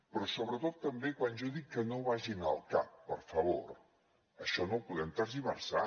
però sobretot també quan jo dic que no vagin al cap per favor això no ho podem tergiversar